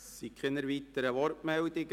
Es gibt keine weiteren Wortmeldungen.